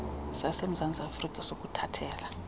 sasemzantsi afrka sokuthathela